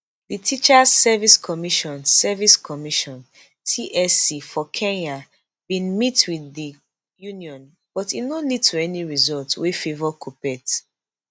di teachers service commission service commission tsc for kenya bin meet wit di union but e no lead to any result wey favour kuppet